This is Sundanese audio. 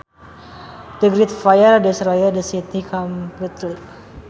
The Great Fire destroyed the city completely